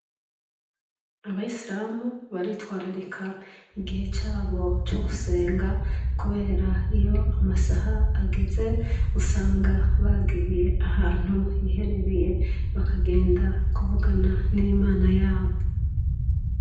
Abasilumu baritwararika igihe cabo cogusenga kubera iyo amasaha ageze usanga bagiye ahantu hihereye bakagenda kuvugana nimana yabo.